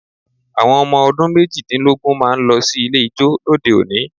Àwọn ọmọ ọdún méjìdínlógún máa ń lọ sí ilé ijó lóde òní